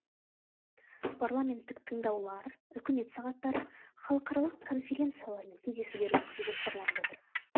парламенттік тыңдаулар үкімет сағаттары халықаралық конференциялар мен кездесулер өткізу жоспарланып отыр